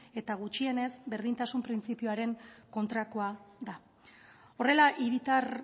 eta gutxienez berdintasun printzipioaren kontrakoa da horrela hiritar